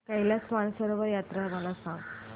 कैलास मानसरोवर यात्रा मला सांग